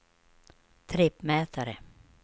trippmätare